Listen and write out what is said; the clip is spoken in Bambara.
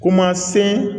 Kuma se